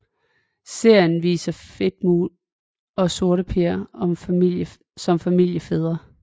Serien viser Fedtmule og Sorteper som familiefædre